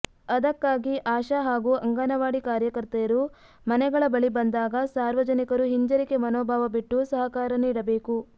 ಅದಕ್ಕಾಗಿ ಆಶಾ ಹಾಗೂ ಅಂಗನವಾಡಿ ಕಾರ್ಯಕರ್ತೆಯರು ಮನೆಗಳ ಬಳಿ ಬಂದಾಗ ಸಾರ್ವಜನಿಕರು ಹಿಂಜರಿಕೆ ಮನೋಭಾವ ಬಿಟ್ಟು ಸಹಕಾರ ನೀಡಬೇಕು